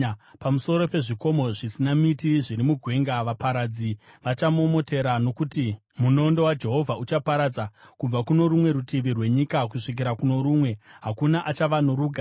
Pamusoro pezvikomo zvisina miti zviri mugwenga, vaparadzi vachamomotera, nokuti munondo waJehovha uchaparadza, kubva kuno rumwe rutivi rwenyika kusvikira kuno rumwe, hakuna achava norugare.